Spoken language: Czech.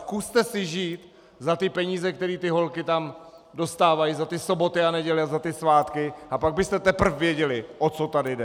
Zkuste si žít za ty peníze, které ty holky tam dostávají za ty sobotu a neděle a za ty svátky, a pak byste teprv věděli, o co tady jde.